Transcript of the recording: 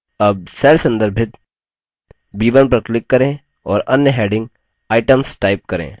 अब cell संदर्भित b1 पर click करें और अन्य heading items type करें